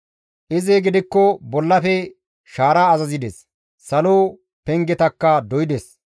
Izi gidikko bollafe shaara azazides; salo pengetakka doydes.